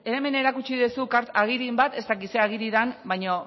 hemen erakutsi dezu agiriren bat ez dakit ze agiri dan baino